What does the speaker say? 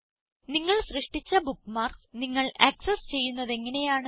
നിങ്ങൾ സൃഷ്ടിച്ച ബുക്ക്മാർക്സ് നിങ്ങൾ ആക്സസ് ചെയ്യുന്നതെങ്ങനെയാണ്